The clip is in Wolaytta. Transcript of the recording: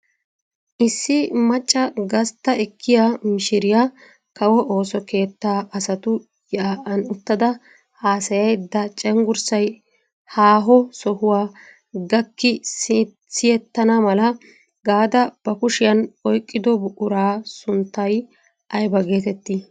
Issi macca gastta ekkiyaa mishiriyaa kawo ooso keettaa asatu yaa'an uttada haasayayda cengurssay haaho sohuwaa gakki siyettana mala gaada ba kushiyaan oyqqido buquraa sunttay ayba getettii?